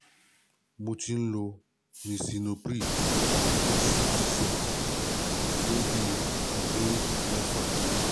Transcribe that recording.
Mo ti ń lo Lisinopril HCTZ fún bí i ọdún mẹ́fà